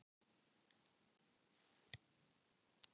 Það gekk mjög vel.